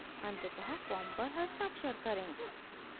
अंततः फॉर्म पर हस्ताक्षर करें